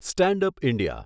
stand up India